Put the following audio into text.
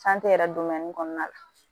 yɛrɛ kɔnɔna la